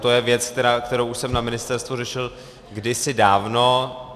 To je věc, kterou už jsem na ministerstvu řešil kdysi dávno.